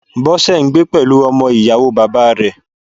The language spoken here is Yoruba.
Bọ́sẹ̀ ń gbé pẹ̀lú ọmọ Ìyàwóo bàbáa rẹ̀